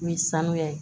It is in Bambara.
Ni sanuya ye